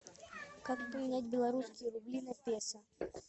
как поменять белорусские рубли на песо